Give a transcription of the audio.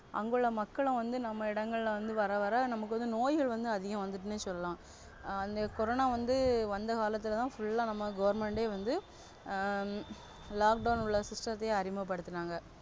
அங்குள்ள மக்களும் வந்து நம்ம இடங்களிலிருந்து வரவர நமக்கு வந்து நோய்கள் வந்து அதிகம் வந்துடனு சொல்லலாம். Corona வந்து வந்த காலத்துலதா Full நம்ப Government வந்து Lockdown உள்ள System அறிமுகம்படுத்துனாங்க.